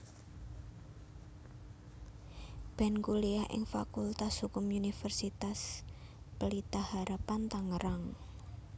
Ben kuliah ing Fakultas Hukum Universitas Pelita Harapan Tangerang